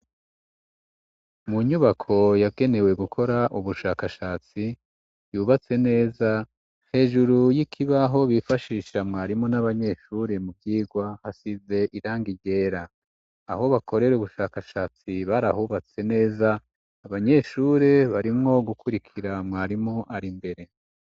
mu nyubako yagenewe gukora ubushakashatsi yubatse neza hejuru y'ikibaho bifashisha mwarimu n'abanyeshure mu vyigwa hasize irangi ryera aho bakorera ubushakashatsi barahubatse neza abanyeshure barimwo gukurikira mwarimu ari mbere